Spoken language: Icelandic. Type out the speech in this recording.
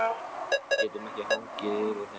Við getum ekki hangið yfir þeim lengur.